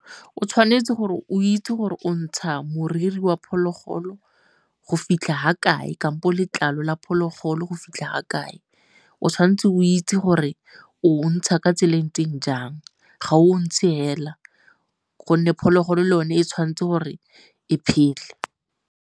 O tshwanetse gore o itse gore o ntsha moriri wa phologolo go fitlha ga kae kampo letlalo la phologolo go fitlha ga kae. O tshwan'tse o itse gore o ntsha ka tsela e ntseng jang, ga o ntshe fela gonne phologolo le yone e tshwanetse gore e phele.